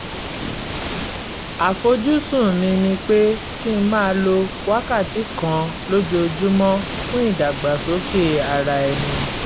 àfojúsùn mi ni pé kí n máa lo wákàtí kan lójoojúmọ́ fún ìdàgbàsókè ara ẹni